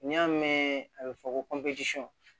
N'i y'a mɛn a bɛ fɔ ko